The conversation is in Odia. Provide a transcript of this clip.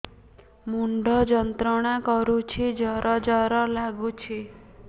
ମୁଣ୍ଡ ଯନ୍ତ୍ରଣା କରୁଛି ଜର ଜର ଲାଗୁଛି